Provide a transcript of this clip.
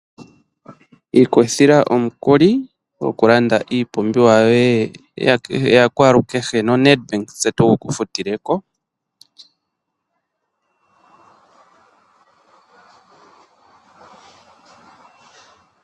Ikuthila omukuli gokulanda iipumbiwa yoye yakwaalukehe noNed Bank tse tugu kufutileko.